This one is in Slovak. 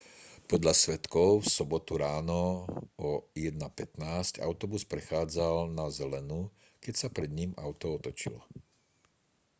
podľa svedkov v sobotu ráno o 1:15 autobus prechádzal na zelenú keď sa pred ním auto otočilo